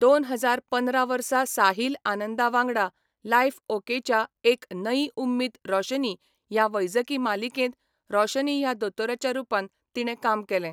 दोन हजार पंदरा वर्सा साहिल आनंदा वांगडा लायफ ओकेच्या एक नयी उम्मीद रोशनी ह्या वैजकी मालिकेंत रोशनी ह्या दोतोराच्या रुपान तिणें काम केलें.